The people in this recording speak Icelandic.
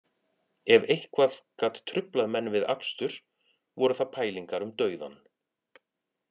Ef eitthvað gat truflað menn við akstur voru það pælingar um dauðann